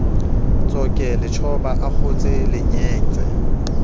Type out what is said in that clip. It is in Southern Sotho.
tsoke letjhoba a akgotse lengetse